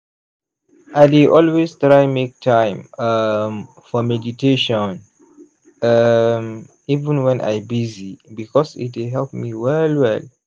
i dey always try make time um for meditation um even wen i busy because e dey help me well well.